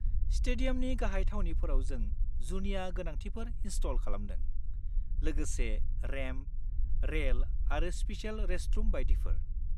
स्टेडियामनि गाहाय थावनिफोराव जों जुनिया गोनांथिफोर इनस्टल खालामदों, लोगोसे रेम्प, रेल आरो स्पेसेल रेस्टरुम बायदिफोर।